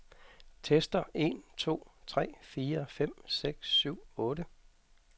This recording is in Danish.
Tester en to tre fire fem seks syv otte.